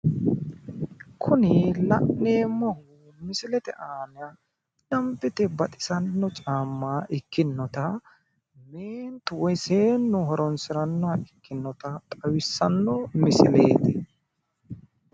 kuni la'neemmohu misilete aana danbete baxisanno caamma ikkinota woy seeennu horonsirannoha ikinota xawissanno misileeti